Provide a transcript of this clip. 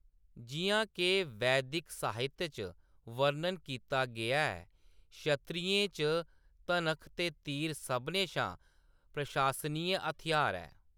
जिʼयां के वैदक साहित्य च वर्णन कीता गेआ ऐ, क्षत्रियें च धनख ते तीर सभनें शा प्रशंसनीय हथ्यार ऐ।